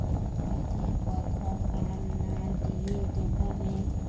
তাদের কথা কান্না দিয়ে দোকানে